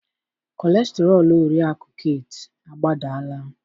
kọlesterọl oriakụ Kate agbadala